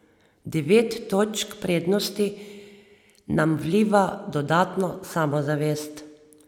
Devet točk prednosti nam vliva dodatno samozavest.